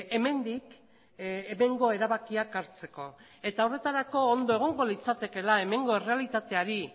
hemendik hemengo erabakiak hartzeko eta horretarako ondo egongo litzatekeela hemengo errealitateari